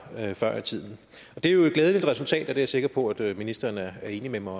før i tiden det er jo et glædeligt resultat og jeg er sikker på at ministeren er enig med mig